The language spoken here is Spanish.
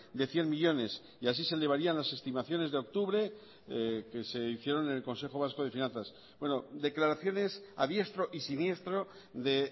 de cien millónes y así se elevarían las estimaciones de octubre que se hicieron en el consejo vasco de finanzas declaraciones a diestro y siniestro de